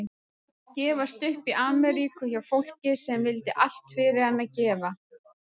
Gefast upp í Ameríku hjá fólki sem vildi allt fyrir hann gera.